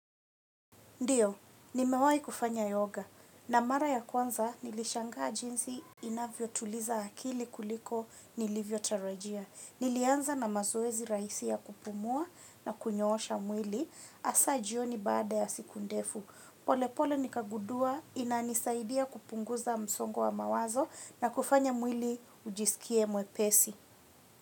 Ndiyo, nimewai kufanya yoga. Na mara ya kwanza nilishangaa jinsi inavyo tuliza akili kuliko nilivyo tarajia. Nilianza na mazoezi raisi ya kupumua na kunyoosha mwili asajioni baada ya siku ndefu. Polepole nikagudua inanisaidia kupunguza msongo wa mawazo na kufanya mwili ujisikie mwe pesi.